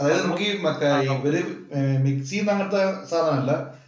അതായത് നമുക്കീ മറ്റേ ഇവര് മിക്സ് ചെയ്യുന്ന അങ്ങനത്തെ സാധനമല്ല.